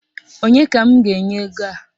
Onye ka m ga-enye ego a?